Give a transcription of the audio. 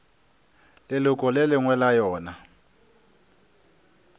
leloko le lengwe la yona